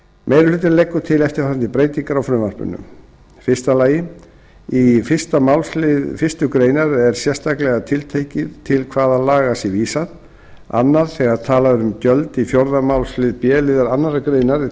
meiri hlutinn leggur til eftirfarandi breytingar á frumvarpinu fyrstu í fyrsta málsl fyrstu grein er sérstaklega tiltekið til hvaða laga sé vísað annað þegar talað er um gjöld í fjórða málsl b liðar annarrar greinar er